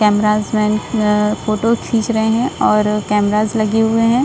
Camera man अ photo खींच रहें हैं और कैमराज लगे हुए हैं।